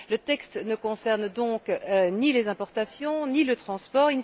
Le texte ne concerne donc ni les importations, ni le transport.